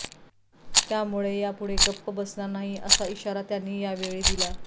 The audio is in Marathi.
त्यामुळे यापुढे गप्प बसणार नाही असा इशारा त्यांनी यावेळी दिला